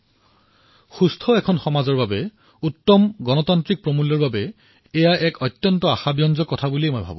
এক সুস্থ সমাজৰ বাবে উত্তম লোকতান্ত্ৰিক মূল্যবোধৰ বাবে মই জানো যে এয়া এক অতিশয় আশাপ্ৰদ ঘটনা